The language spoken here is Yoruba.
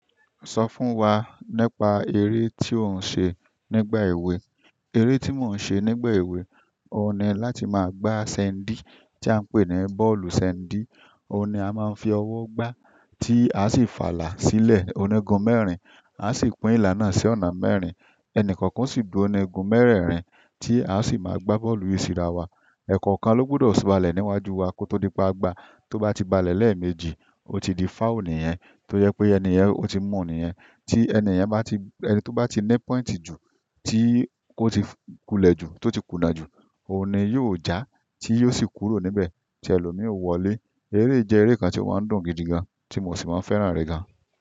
Sọ fún wa nípa eré tí ò ń ṣe nígbà èwe. Eré tí mò ń ṣe nígbà èwe, ó ni láti máa gbá sẹ́ńdì tí a ń pè ní bọ́ọ̀lù sẹ́ńdì. Oun ni a maa n fi owo gba ti a si fa ila silẹ onigun mẹ́rin, a si pín ila náà si ọ̀nà mẹ́rin. Ẹnìkọ̀ọ̀kan o sì dúró ní igun mẹ́rẹ̀ẹ̀rin tí a sì máa gbá bọ́ọ̀lù yìí síra wa. Ẹ̀kọ̀ọ̀kan ló gbudọ̀ bálẹ̀ níwájú wa kó tó di pe a gba. Tó bá ti balẹ̀ lẹ́ẹ̀mejì, ó ti di foul nìyẹn. Tó jẹ pé ènìyẹn, ó ti mú nìyẹn. Tí ènìyẹn bá ti, ẹni tó bá ti ní pọ́ìntì ju, tí ó ti kulẹ̀ ju, tó ti kùnà ju, òun ni yóò já tí yóò sì kúrò níbẹ̀, tí ẹlòmíì ó wọlé. Eré yìí jẹ́ eré kan tí ó máa ń dùn gidi gan, tí mo sì máa ń fẹ́ràn rẹ̀ gan.